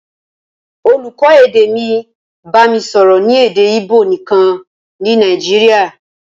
Olùkọ́ èdè mi bami sọ̀rọ̀ ní èdè Ìbò nìkan ní Nàìjíríà.